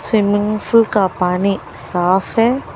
Swimming pool का पानी साफ है।